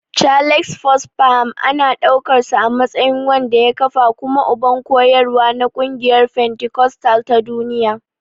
Charles Fox Parham ana ɗaukarsa a matsayin wanda ya kafa kuma uban koyarwa na ƙungiyar fentikostal ta duniya.